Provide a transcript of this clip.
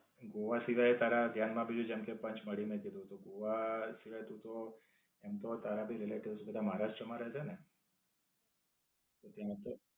ગોવા સિવાય તારા ધ્યાન માં બીજી જેમકે પંચમળી નું કીધું તો, ગોવા સિવાય તું તો એમ તો તારા ભી relatives મહારાષ્ટ્ર માં રહે છેને? તો, ત્યાં તો